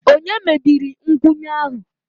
Ònye mebiri nkwụnye ahụ?